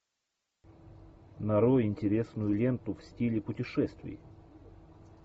нарой интересную ленту в стиле путешествий